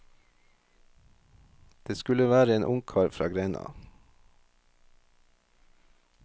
Det skulle være en ungkar fra grenda.